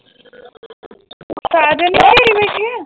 ਸਾਜਨ ਨੂੰ ਘੇਰੀ ਬੈਠੀ ਹੈ?